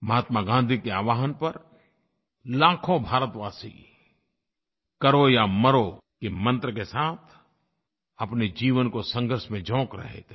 महात्मा गाँधी के आह्वान पर लाखों भारतवासी करो या मरो के मंत्र के साथ अपने जीवन को संघर्ष में झोंक रहे थे